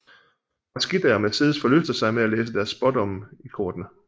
Frasquita og Mercedes forlyster sig med at læse deres spådomme i kortene